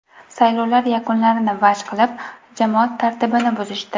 Saylovlar yakunlarini vaj qilib, jamoat tartibini buzishdi.